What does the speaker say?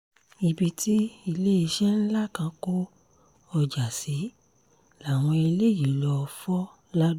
ibi tí iléeṣẹ́ ńlá kan kó ọjà sí làwọn eléyìí lóò fọ́ lado